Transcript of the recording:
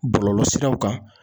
Bɔlɔlɔsiraw kan